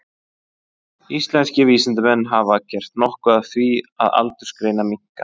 Íslenskir vísindamenn hafa gert nokkuð af því að aldursgreina minka.